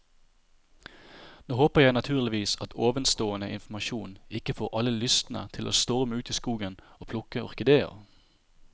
Nå håper jeg naturligvis at ovenstående informasjon ikke får alle lystne til å storme ut i skogen og plukke orkideer.